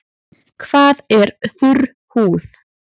Hvað er þurr húð?